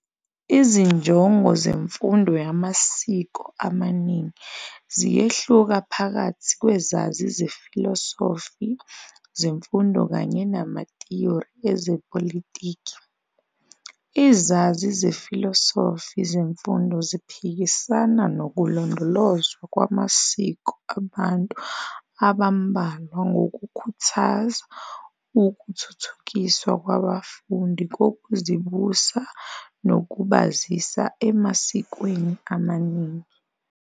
Izinjongo zemfundo yamasiko amaningi ziyehluka phakathi kwezazi zefilosofi zemfundo kanye namathiyori ezepolitiki. Izazi zefilosofi zemfundo ziphikisana nokulondolozwa kwamasiko abantu abambalwa ngokukhuthaza ukuthuthukiswa kwabafundi kokuzibusa nokubazisa emasikweni amaningi.